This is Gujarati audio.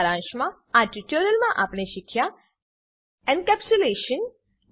સારાંશમાં આ ટ્યુટોરીયલમાં આપણે શીખ્યા એન્કેપ્સ્યુલેશન એનકેપ્સુલેશન